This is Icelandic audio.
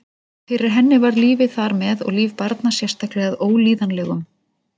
Fyrir henni varð lífið þar með og líf barna sérstaklega að Ólíðanlegum